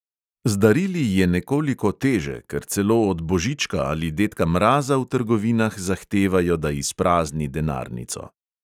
Z darili je nekoliko teže, ker celo od božička ali dedka mraza v trgovinah zahtevajo, da izprazni denarnico.